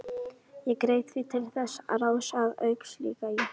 Ég greip því til þess ráðs að auglýsa í